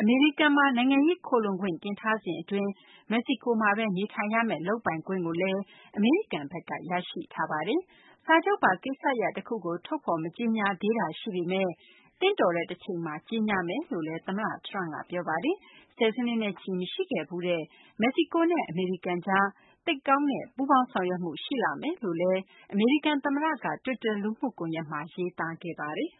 အမေရိကန်မှာ နိုင်ငံရေး ခိုလှုံခွင့် တင်ထားစဉ် အတွင်း မက္ကဆီကိုမှာဘဲ နေထိုင်ရမယ့် လုပ်ပိုင်ခွင့်ကိုလည်း အမေရိကန်ဘက်က ရရှိခဲ့ပါတယ်။ စာချုပ်ပါ ကိစ္စရပ် တခုကို ထုတ်ဖော် မကြေညာသေးတာ ရှိပေမယ့် သင့်တော်တဲ့ တချိန်မှာ ကြေညာပါမယ်လို့လည်း သမ္မတ Trump က ပြောပါတယ်။ ဆယ်စုနှစ်နဲ့ချီ မရှိခဲ့ဖူးတဲ့ မက္ကဆီကိုနဲ့ အမေရိကန်ကြား သိပ်ကောင်းတဲ့ ပူးပေါင်းဆောင်ရွက်မှု ရှိလာမယ်လို့လည်း အမေရိကန် သမ္မတက တွစ်တာ လူမှုကွန်ယက်မှာ ရေးသားခဲ့ပါတယ်။